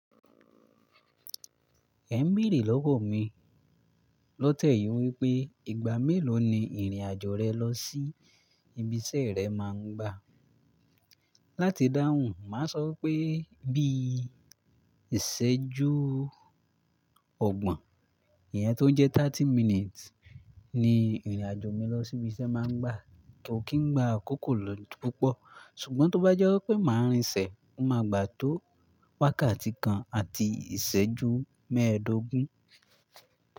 Ẹ̀ n beere lọ́wọ́ mi, lọ tẹ̀yí wípé ìgbà mélòó ni ìrìn-àjò rẹ lọ sí ibi iṣẹ́ rẹ máa ń gbà. Láti dáhùn, màá sọ wípé bí i ìṣẹ́jú ọgbọ̀n, ìyẹn tó jẹ́ ọgbọ̀n minutes ni ìrìn-àjò mi lọ sí ibi iṣẹ́ máa ń gbà. Kò kí n gbà akòkò lóju púpọ̀, ṣùgbọ́n tó bá jẹ́ wípé màá rìnṣẹ̀, ó ma gbà tó wákàtí kan àti ìṣẹ́jú mẹ́ẹ̀ẹ́dógún.